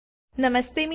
નમસ્તે મિત્રો